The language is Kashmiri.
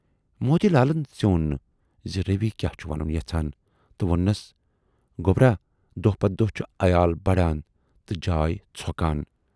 موتی لالن ژیوٗن نہٕ زِ روی کیاہ چھُ وَنُن یَژھان تہٕ ووننَس"گوبرا دۅہ پَتہٕ دۅہ چھُ عیال بڈان تہٕ جاے ژھۅکان